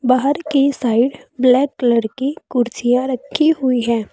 बाहर की side black colour की कुर्सियां रखी हुई हैं।